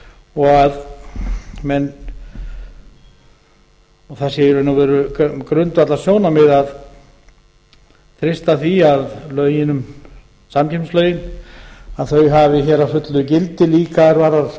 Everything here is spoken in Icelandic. og að það sé í raun og veru grundvallarsjónarmið að treysta því að samkeppnislögin hafi hér að fullu gildi líka er varðar